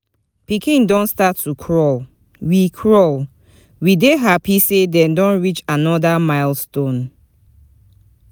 Pikin don start to crawl, we crawl, we dey happy say dem don reach another milestone.